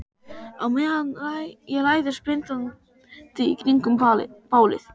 Á meðan ég læðist blindandi í kringum bálið.